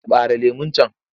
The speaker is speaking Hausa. Ɓare lemon can!